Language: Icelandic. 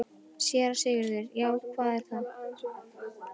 SÉRA SIGURÐUR: Já, hvað er það?